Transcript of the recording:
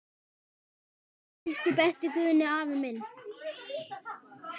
Elsku besti Guðni afi minn.